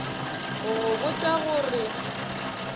go go botša go re